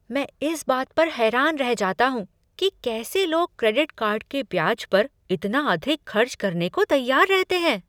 मैं इस बात पर हैरान रह जाता हूँ कि कैसे लोग क्रेडिट कार्ड के ब्याज पर इतना अधिक खर्च करने को तैयार रहते हैं।